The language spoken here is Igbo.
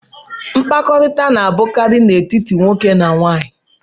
Mkpakọrịta na-abụkarị n'etiti nwoke na nwaanyị.